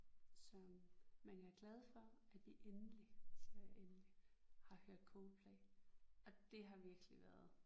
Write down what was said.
Så men jeg er glad for at vi egentlig siger jeg endelig har hørt Coldplay og det har virkelig været